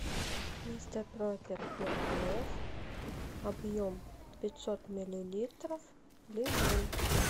мистер пропер для полов объем пятьсот миллилитров лимон